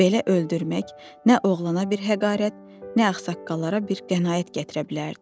Belə öldürmək nə oğlana bir həqarət, nə ağsaqqallara bir qənaət gətirə bilərdi.